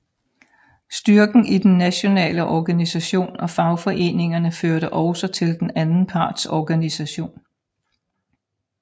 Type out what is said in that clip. Styrken i den nationale organisation og fagforeningerne førte også til den anden parts organisation